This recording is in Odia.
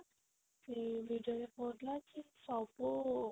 ସେ ବିଜୟ କହୁଥିଲା କି ସବୁ